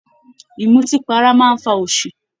Ìmùtí para máa ń fa òṣì